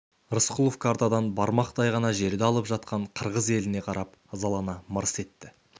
рысқұлов картадан бармақтай ғана жерді алып жатқан қырғыз еліне қарап ызалана мырс етті